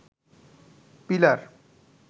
pillar